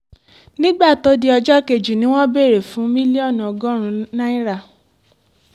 nígbà tó di ọjọ́ kejì ni wọ́n béèrè fún mílíọ̀nù lọ́nà ogún náírà